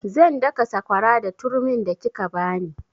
Zan daka sakwara da turmin da kika bani